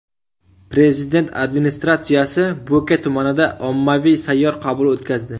Prezident Administratsiyasi Bo‘ka tumanida ommaviy sayyor qabul o‘tkazdi.